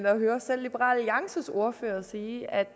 at høre selv liberal alliances ordfører sige